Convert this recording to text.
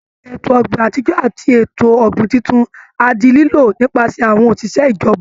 Ètò ọ̀gbìn àtijọ́ àti ètò ọ̀gbìn tuntun á di lílò nípasẹ̀ àwọn òṣìṣẹ́ ìjọba